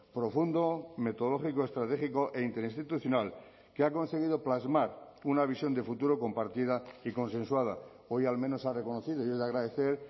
profundo metodológico estratégico e interinstitucional que ha conseguido plasmar una visión de futuro compartida y consensuada hoy al menos ha reconocido y es de agradecer